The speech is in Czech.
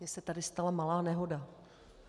Mně se tady stala malá nehoda.